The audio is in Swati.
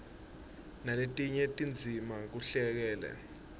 naletinye tindzima kuhleleke